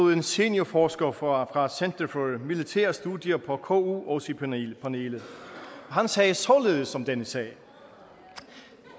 en seniorforsker fra center for militære studier på ku også i panelet panelet han sagde således om denne sag